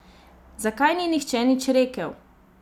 Zakaj ni nihče nič rekel?